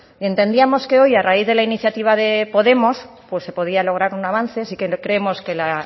entendíamos que hoy a raíz de la iniciativa de podemos pues se podía lograr un avance sí creemos que la